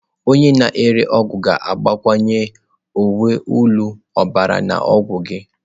Onye na-ere ọgwụ ga-agbakwunye uwe elu ọbara na ọgwụ gị.